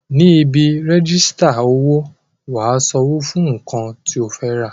Ní ibi rẹ́jísítà owó, wà á san owó fún nǹkan tí o fẹ́ rà